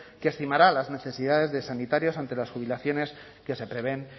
que estimará las necesidades de sanitarios ante las jubilaciones que se prevén